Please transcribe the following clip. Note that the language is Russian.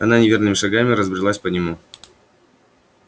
она неверными шагами разбрелась по нему